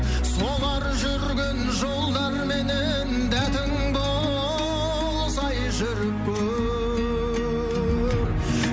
солар жүрген жолдарменен дәтің болса ай жүріп көр